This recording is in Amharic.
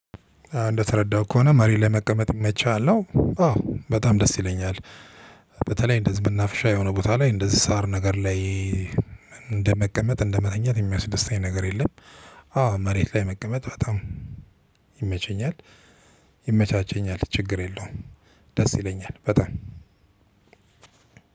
እንደተረዳሁት ከሆነ መሬት ላይ መቀመጥ ይመችሃል ነው? አዎ በጣም ደስ ይለኛል። በተለይ እንደዚህ መናፍሻ የሆነ ቦታ ላይ እንደዚህ ሳር ነገር ላይ። እንደመቀመጥ እንደመተኛት የሚያስደስተኝ ነገር የለም። አዎ መሬት ላይ መቀመጥ በጣም ይመቸኛል። ይመቻቸኛል ችግር የለውም። ደስ ይለኛል በጣም